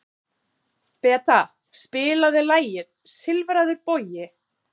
Beta, spilaðu lagið „Silfraður bogi“.